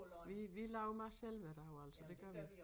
Vi vi laver mad selv hver dag altså det gør vi